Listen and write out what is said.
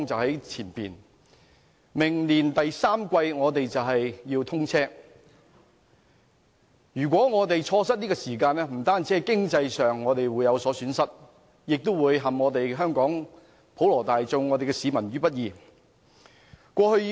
高鐵將於明年第三季通車，如果我們錯失這個時機，不單在經濟上有所損失，也會陷香港普羅市民於不義。